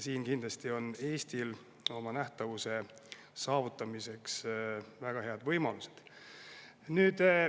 Siin on Eestil nähtavuse saavutamiseks kindlasti väga head võimalused.